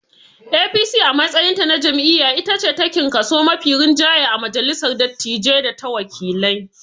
APC a matsayinta na jam'iyya itace takin kaso mafi rinjaye a majalissar dattijai data wakilai.